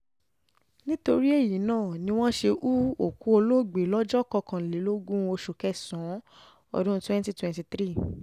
nítorí èyí náà um ni wọ́n ṣe hu òkú olóògbé lọ́jọ́ kọkànlélógún oṣù kẹsàn-án ọdún twenty twenty three um